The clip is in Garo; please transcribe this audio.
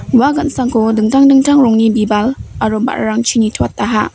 ua gan·sangko dingtang dingtang rongni bibal aro ba·rarangchi nitoataha.